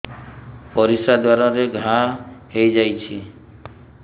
ପରିଶ୍ରା ଦ୍ୱାର ରେ ଘା ହେଇଯାଇଛି